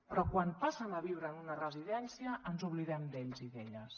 però quan passen a viure en una residència ens oblidem d’ells i d’elles